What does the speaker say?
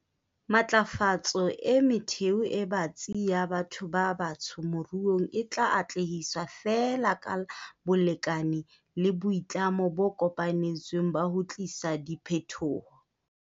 Matlafatso e metheo e batsi ya batho ba batsho moruong, e tla atlehiswa feela ka bolekane le boitlamo bo kopanetsweng ba ho tlisa diphetoho.